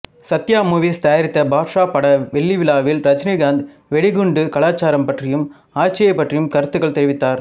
Sathya movies தயாரித்த பாட்ஷா பட வெள்ளி விழாவில் ரஜினிகாந்த் வெடிகுண்டு கலாச்சாரம் பற்றியும் ஆட்சியைப் பற்றியும் கருத்துக்கள் தெரிவித்தார்